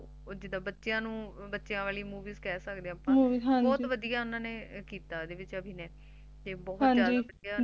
ਓਹ ਜਿੱਦਾ ਬਚਿਆ ਨੂੰ ਬਚਿਆ ਵਾਲੀ Movie ਕਹਿ ਸਕਦੇ ਹਾਂ ਅਪਾ ਹੈਨਾ ਬਹੁਤ ਵਧੀਆ ਅਭਿਨੈ ਤੇ ਬਹੁਤ ਜਾਦਾ ਵਧੀਆ